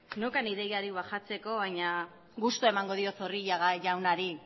neukan ideiarik bajatzeko baina gustoa emango diot zorrilla jaunari